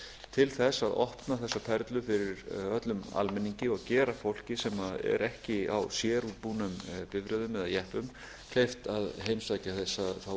til þess að opna þessa perlu fyrir öllum almenningi og gera fólki sem er ekki á sérútbúnum bifreiðum eða jeppum kleift að heimsækja þá